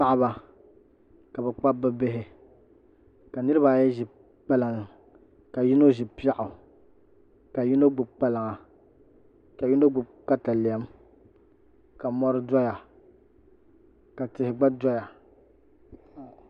Paɣaba ka bi kpabi bi bihi ka niraba ayi ʒi kpalaŋa ka yino ʒi piɛɣu ka yino gbubi kpalaŋa ka yino gbubi katalɛm ka mori doya ka tihi gba doya